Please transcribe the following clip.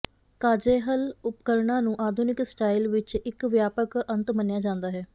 ਕਾਜ਼ੈਹਲ ਉਪਕਰਣਾਂ ਨੂੰ ਆਧੁਨਿਕ ਸਟਾਈਲ ਵਿੱਚ ਇੱਕ ਵਿਆਪਕ ਅੰਤ ਮੰਨਿਆ ਜਾਂਦਾ ਹੈ